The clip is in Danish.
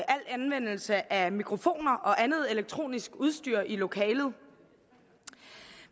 anvendelse af mikrofoner og andet elektronisk udstyr i lokalet